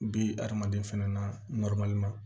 Bi hadamaden fɛnɛ na ma